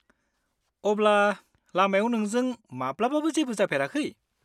-अब्ला, लामायाव नोंजों माब्लाबाबो जेबो जाफेराखै?